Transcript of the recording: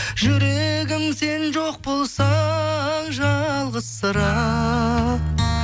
жүрегім сен жоқ болсаң жалғызсырап